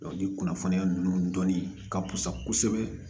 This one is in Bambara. ni kunnafoniya ninnu dɔnni ka fusa kosɛbɛ